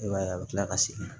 I b'a ye a bɛ tila ka segin